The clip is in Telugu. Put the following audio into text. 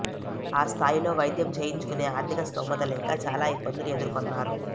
ఆ స్థాయిలో వైద్యం చేయించుకునే ఆర్థిక స్తోమత లేక చాలా ఇబ్బందులు ఎదుర్కొన్నారు